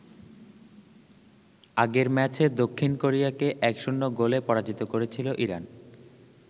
আগের ম্যাচে দক্ষিণ কোরিয়াকে ১-০ গোলে পরাজিত করেছিল ইরান।